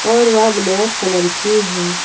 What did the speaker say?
वह वे black colour की है।